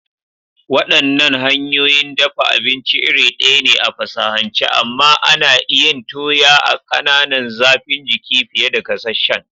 Waɗannan hanyoyin dafa abinci iri ɗaya ne a fasahance, amma ana yin toya a ƙananan zafin jiki fiye da gasasshen.